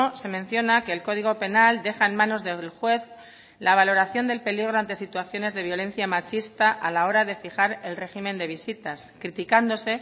se menciona que el código penal deja en manos del juez la valoración del peligro ante situaciones de violencia machista a la hora de fijar el régimen de visitas criticándose